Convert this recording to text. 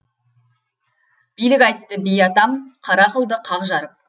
билік айтты би атам қара қылды қақ жарып